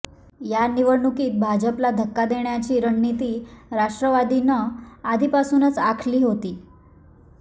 या निवडणुकीत भाजपला धक्का देण्याची रणनीती राष्ट्रवादीनं आधीपासूनच आखली होती